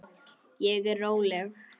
Ég er róleg.